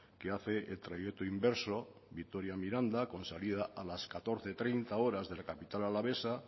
que hace el trayecto inverso vitoria miranda con salida a las catorce treinta horas de la capital alavesa